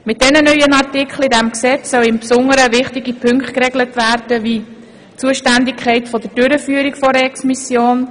Mit den neuen Artikeln im Gesetz sollen wichtige Punkte geregelt werden, wie die Zuständigkeit der Durchführung einer Exmission;